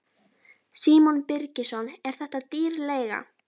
Símon Birgisson: Er þetta dýr leiga?